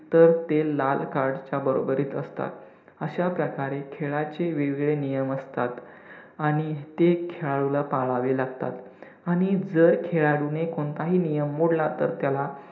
तर ते लाल card च्या बरोबरीत असतात. अशा प्रकारे खेळाचे वेगवेगळे नियम असतात आणि ते खेळाडूला पाळावे लागतात आणि जर खेळाडूने कोणताही नियम मोडला तर त्याला